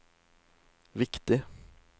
viktig